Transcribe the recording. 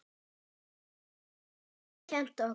Það hefur Haukur kennt okkur.